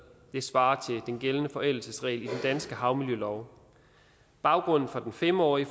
det svarer til den gældende forældelsesregel i den danske havmiljølov baggrunden for den fem årige